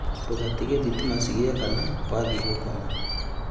Ndũgatige thitima cigĩakana wathiĩ gũkoma